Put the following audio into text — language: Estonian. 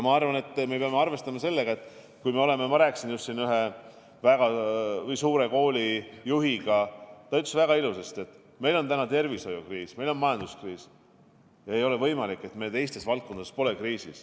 Ma rääkisin äsja ühe väga suure kooli juhiga ja ta ütles väga ilusasti, et kui meil on tervishoiukriis ja majanduskriis, siis ei ole võimalik, et teistes valdkondades pole kriisi.